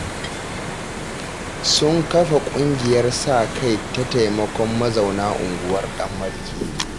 Sun kafa ƙungiyar sa-kai ta taimakon mazauna unguwar ta Ɗanmarke